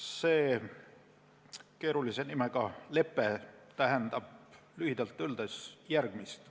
See keerulise nimega lepe tähendab lühidalt öeldes järgmist.